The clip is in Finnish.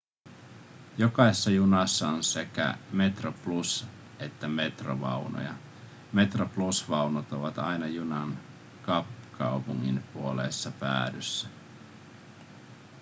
jokaisessa junassa on sekä metroplus- että metro-vaunuja metroplus-vaunut ovat aina junan kapkaupungin puoleisessa päädyssä